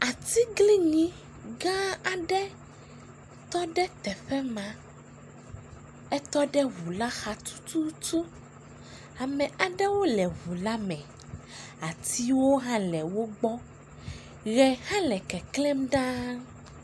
Atiglinyi gãaa aɖe tɔ ɖe teƒe ma. Etɔ ɖe ŋula xa tututu. Ame aɖewo le ŋula me. Atiwo hã le wogbɔ. Ʋe hã le keklẽm ɖaa.